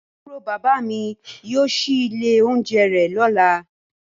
Aburo baba mi yóò ṣii ile ounjẹ rẹ lọla.